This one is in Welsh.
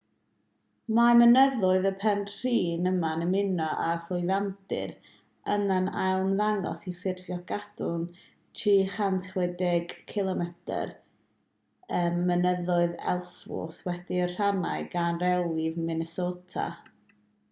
mae mynyddoedd y penrhyn yma'n ymuno â'r llwyfandir yna'n ailymddangos i ffurfio cadwyn 360 cilomedr mynyddoedd ellsworth wedi'i rhannu gan rewlif minnesota